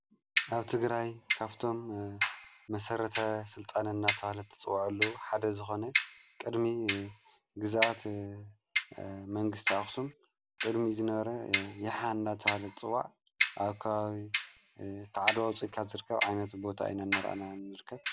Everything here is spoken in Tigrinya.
ኣብ ት ግራይ ካፍቶም መሠረተ ሥልጣነና ተሃለ ቲ ጽዋዐሎ ሓደ ዝኾነ ቕድሚ ግዛኣት መንግሥቲ ኣኽስም ቅድሚ ዝነረ የሓና ተሃለት ጥዋዕ ኣካዊ ኽዓድዋ ፂልካት ዘርካብ ዓይነት ቦታ ኢነነርአና ንርከብ::